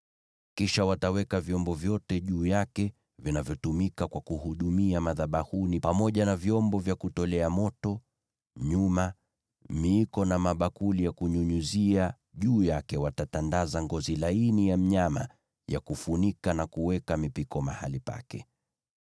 Kisha wataweka vyombo vyote juu yake vinavyotumika kwa kuhudumia madhabahuni pamoja na vyombo vya kutolea moto, nyuma, miiko na mabakuli ya kunyunyizia. Juu yake watatandaza ngozi za pomboo ya kufunika, na kuweka mipiko mahali pake.